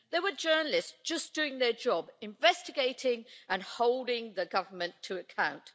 They were journalists just doing their job, investigating and holding the government to account.